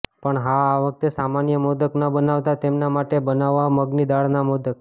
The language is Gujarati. પણ હા આ વખતે સામાન્ય મોદક ન બનાવતા તેમના માટે બનાવો મગની દાળના મોદક